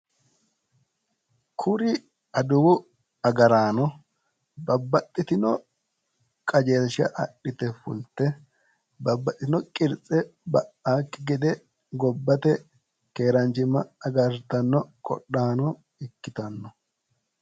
Kuri aduwu agaraano babbaxxitino qajeelsha adhite fulte babbaxxitino qirtse ba'aakki gede gobbate keeraanchimma agartanno qodhaano ikkitanno.